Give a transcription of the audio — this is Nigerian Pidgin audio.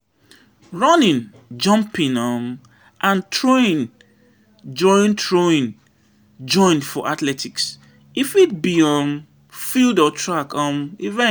Running, jumping um and throwing join throwing join for athletics. e Fit be um field or track um event.